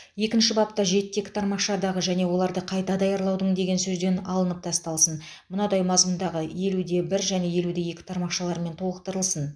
екінші бапта жетіде екі тармақшадағы және оларды қайта даярлаудың деген сөздер алып тасталсын мынадай мазмұндағы елуде бір және елуде екі тармақшалармен толықтырылсын